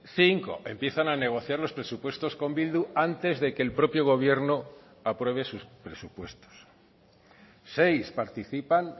cinco empiezan a negociar los presupuestos con bildu antes de que el propio gobierno apruebe sus presupuestos seis participan